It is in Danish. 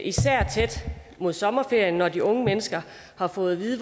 især tæt mod sommerferien når de unge mennesker har fået at vide